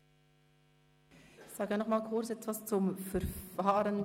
Ich sage nochmal kurz etwas zum Verfahren.